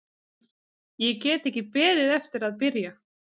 Ég get ekki beðið eftir að byrja.